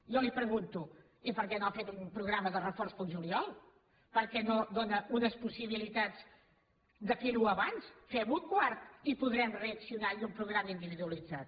jo li pregunto i per què no ha fet un programa de reforç per al juliol per què no dóna unes possibilitats de fer ho abans fem ho a quart i podrem reaccionar i un programa individualitzat